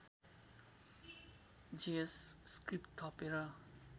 JS script थपेर